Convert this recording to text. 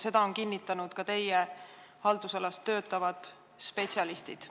Seda on kinnitanud ka teie haldusalas töötavad spetsialistid.